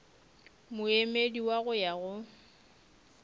moemedi wa go ya go